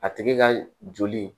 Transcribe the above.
A tigi ka joli